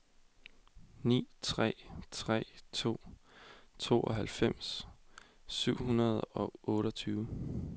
ni tre tre to tooghalvfems syv hundrede og otteogtyve